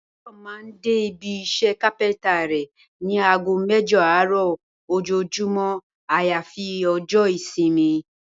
Báyò̩ máa n dé ibi is̩é̩ kápé̩ńtà rè̩ ní aago mé̩jo̩ àárò̩ ojoojúmó̩ àyàfi o̩jó̩ ìsimi